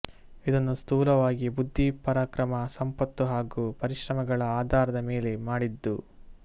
ಇದನ್ನು ಸ್ಥೂಲವಾಗಿ ಬುದ್ಧಿ ಪರಾಕ್ರಮ ಸಂಪತ್ತು ಹಾಗೂ ಪರಿಶ್ರಮಗಳ ಆಧಾರದ ಮೇಲೆ ಮಾಡಿದ್ದು